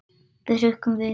Við hrukkum við.